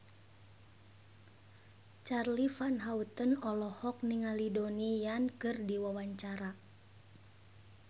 Charly Van Houten olohok ningali Donnie Yan keur diwawancara